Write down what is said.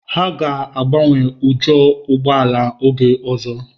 Ha ga agbanwe ujo ụgbọ ala oge ọzọ.